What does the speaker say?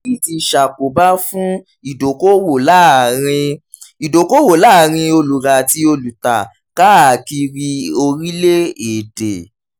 èyí ti ṣàkóbá fún ìdókòwò láàrin ìdókòwò láàrin olùrà àti olùtà káàkiri orílè-èdè.